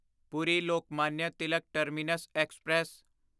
Puri Lokmanya Tilak terminus express